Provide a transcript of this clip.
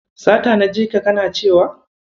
Sata na jika kana cewa?